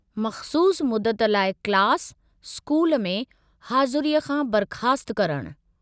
मख़सूसु मुदत लाइ क्लास/स्कूल में हाज़ुरीअ खां बर्ख़ास्तु करणु।